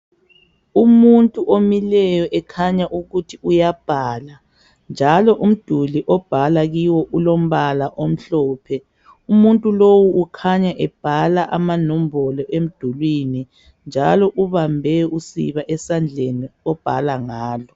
Umuntu omileyo ekhanya ukuthi uyabhala njalo umduli obhala kiwo ulombala omhlophe. Umuntu lowo ukhanya ebhala amanombolo emdulini njalo ubambe usiba esandleni obhala ngalo.